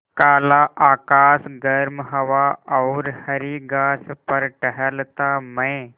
काला आकाश गर्म हवा और हरी घास पर टहलता मैं